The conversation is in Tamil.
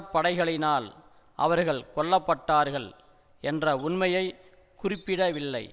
படைகளினால் அவர்கள் கொல்ல பட்டார்கள் என்ற உண்மையை குறிப்பிடவில்லை